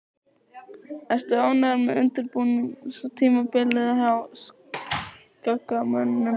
Ertu ánægður með undirbúningstímabilið hjá Skagamönnum?